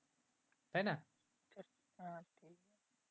তাই না